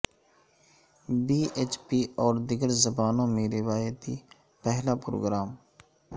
پی H P اور دیگر زبانوں میں روایتی پہلا پروگرام